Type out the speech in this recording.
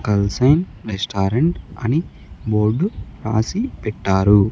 కల్సైన్ restaurant అని board రాసి పెట్టారు.